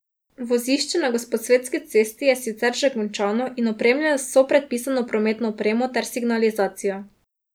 Vozišče na Gosposvetski cesti je sicer že končano in opremljeno z vso predpisano prometno opremo ter signalizacijo.